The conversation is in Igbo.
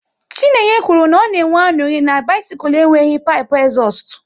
Chinenye kwụrụ na ọ na enwe aṅụrị na bisikul enweghị pipu ezustu